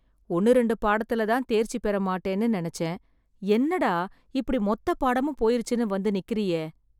ஒண்ணு ரெண்டு பாடத்துல தான் தேர்ச்சி பெற மாட்டேன்னு நினச்சேன், என்னடா இப்படி மொத்த பாடமும் போயிருச்சுன்னு வந்து நிக்கிறயே.